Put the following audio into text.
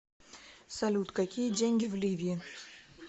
салют какие деньги в ливии